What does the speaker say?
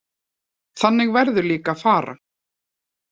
Þannig verður líka að fara.